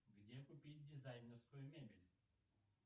где купить дизайнерскую мебель